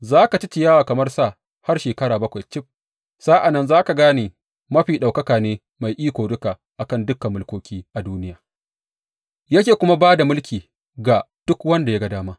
Za ka ci ciyawa kamar sa har shekara bakwai cif, sa’an nan za ka gane Mafi Ɗaukaka ne mai iko duka a kan dukan mulkoki a duniya, yake kuma ba da mulki ga duk wanda ya ga dama.